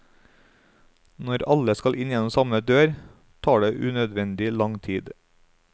Når alle skal inn gjennom samme dør, tar det unødvendig lang tid.